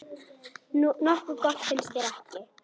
Nokkuð gott, finnst þér ekki?